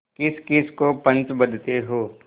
किसकिस को पंच बदते हो